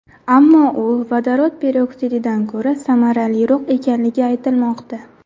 Ammo u vodorod peroksididan ko‘ra samaraliroq ekanligi aytilmoqda.